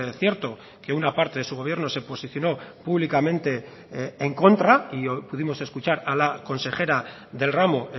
cierto que una parte de su gobierno se posicionó públicamente en contra y pudimos escuchar a la consejera del ramo